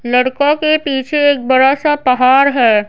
लड़का के पीछे एक बड़ा सा पहाड़ है।